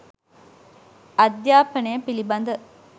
අධ්‍යාපනය පිළිබඳ